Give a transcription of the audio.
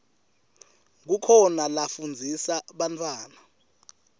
kukhona lafundzisa bantfwana